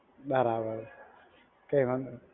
બરાબર, કાઇ વાંધો નહીં.